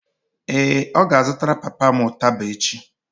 ee, ọ ga-azụtara papa m ụtaba echi